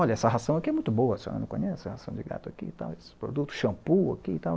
Olha, essa ração aqui é muito boa, se a senhora não conhece, essa ração de gato aqui e tal, esse produto, shampoo aqui e tal.